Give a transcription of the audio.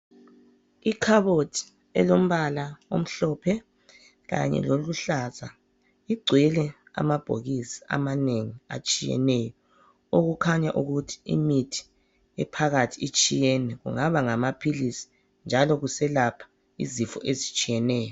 Ikhabothi elombala omhlophe kanye loluhlaza igcwele amabhokisi amanengi atshiyeneyo, okukhanya ukuthi imithi ephakathi itshiyene kungaba ngama philisi njalo kuselapha izifo ezitshiyeneyo.